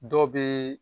Dɔ bɛ